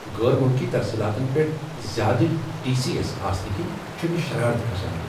غٲر ملکی ترسیلاتن پیٹھ زیادٕ ٹی۔ سی۔ ایس آسنہٕ کِنہِ چُھ مے شرارت کھسان۔